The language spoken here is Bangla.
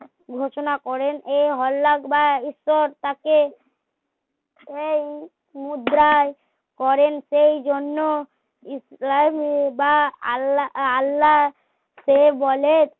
ঘোষণা করেন এ হল্লাক বা তাকে মুদ্রায় করেন সেই জন্য ইসলামী বা আ ~আল্লাহ কে বলে